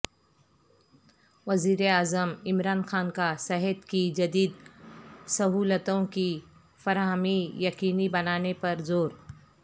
وزیراعظم عمران خان کا صحت کی جدیدسہولتوں کی فراہمی یقینی بنانے پرزور